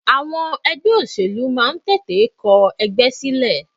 Àwọn ẹgbẹ́ òṣèlú máa ń tètè kọ ẹgbẹ́ sílẹ̀.